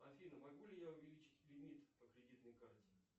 афина могу ли я увеличить лимит по кредитной карте